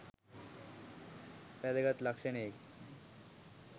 වැදගත් ලක්ෂණයකි